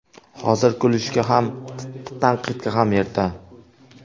Hozir kulishga ham, tanqidga ham erta.